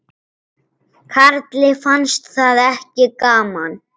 Karli fannst það ekki gaman.